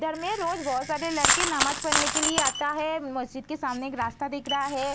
में रोज बहोत सारे लड़के नमाज पड़ने के लिए आता है मस्जिद के सामने एक रास्ता दिख रहा है।